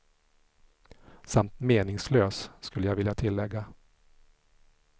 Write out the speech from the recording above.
Samt meningslös, skulle jag vilja tillägga.